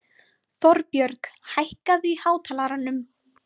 Þorbjörg, hækkaðu í hátalaranum.